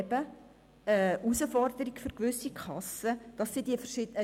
Das würde für gewisse Kassen eine Herausforderung bedeuten.